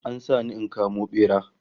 An sa ni in kamo bera